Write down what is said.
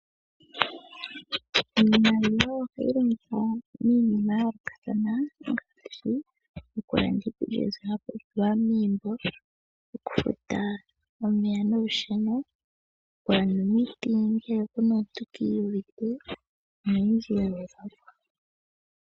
Iimaliwa ohayi longithwa miinima ya yoolokathana ngaashi okulanda iikulya mbyoka ya pumbiwa megumbo, okufuta omeya nolusheno, oku landa omiti ngele puna omuntu kiyuvite noyindji ya gwedhwapo.